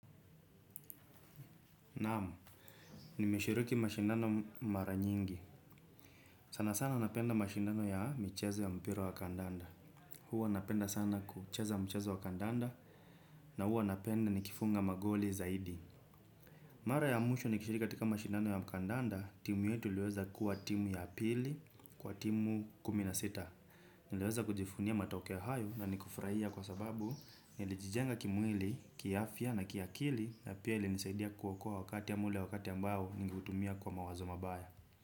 Nam, nimeshiriki mashindano mara nyingi. Sana sana napenda mashindano ya mchezo ya mpira wa kandanda. Huwa napenda sana kucheza mchezo wa kandanda, na huwa napenda nikifunga magoli zaidi. Mara ya mwisho nikishiriki katika mashindano ya kandanda, timu yetu iliweza kuwa timu ya pili, kwa timu kumi na sita. Niliweza kujivunia matokeo hayo na nikafurahia kwa sababu nilijijenga kimwili, kiafya na kiakili na pia ilinisaidia kuokoa wakati ama ule wakati mbao ningeutumia kwa mawazo mabaya.